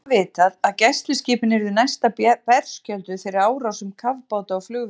Einnig var vitað, að gæsluskipin yrðu næsta berskjölduð fyrir árásum kafbáta og flugvéla.